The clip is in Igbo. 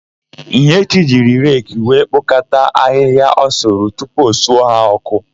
Ihechi jiri reki wee kpokọta ahịhịa ọ sụrụ tupu o suo ha ọ́kụ́.